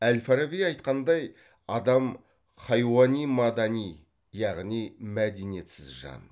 әл фараби айтқандай адам хайуани мадани яғни мәдениетсіз жан